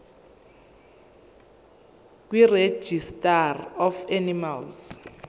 kuregistrar of animals